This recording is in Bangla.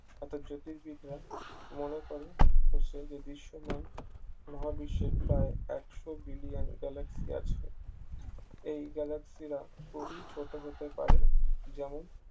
অর্থাৎ জ্যোতির্বিদরা মনে করে সে যে দৃশ্যমান মহাবিশ্বের প্রায় একশো বিলিয়ন galaxy আছে এই galaxy রা খুবই ছোট হতে পারে যেমন